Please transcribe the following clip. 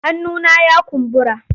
Hannuna ya kumbura.